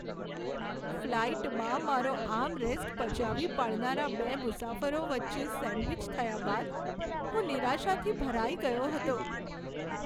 ફ્લાઈટમાં મારો આર્મરેસ્ટ પચાવી પાડનારા બે મુસાફરો વચ્ચે સેન્ડવિચ થયા બાદ હું નિરાશાથી ભરાઈ ગયો હતો.